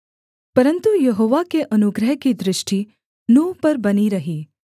परन्तु यहोवा के अनुग्रह की दृष्टि नूह पर बनी रही